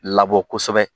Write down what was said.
Labɔ kosɛbɛ